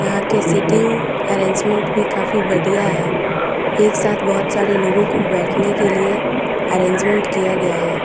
यहाँ के sitting arrangement भी काफी बढ़िया है एक साथ बहुत सारे लोगो को बैठने के लिए अरेंजमेंट किया गया है।